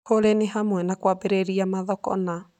kũrĩ nĩ hamwe na kũambĩrĩria mathoko na